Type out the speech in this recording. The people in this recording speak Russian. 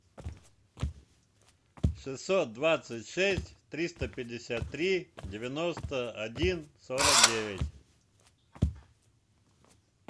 шестьсот двадцать шесть триста пятьдесят три девяносто один сорок девять